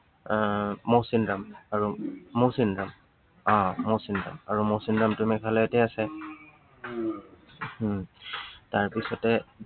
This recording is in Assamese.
আহ মৌচিনৰাম, আৰু মৌচিনৰাম। আহ মৌচিনৰাম। আৰু মৌচিনৰামটো মেঘালয়তে আছ। উম তাৰপিছতে